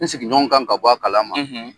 N sigiɲɔgɔnw kan ka bɔ a kala ma.